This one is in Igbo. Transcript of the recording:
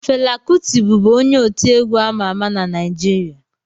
Fela Kụti bụbu onye otiegwu ama ama na Naịjirịa